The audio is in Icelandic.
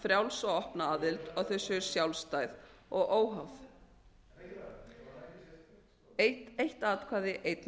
og opna aðild og að þau séu sjálfstæð og óháð eitt atkvæði einn